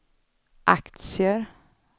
aktier